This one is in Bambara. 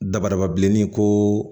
Dabadababa bilenni ko